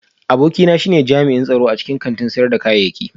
Abokina shine tsaro a cikin kantin sayar da kayayyaki